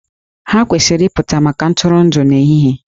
Ha kwesịrị ịpụta maka ntụrụndụ n'ehihie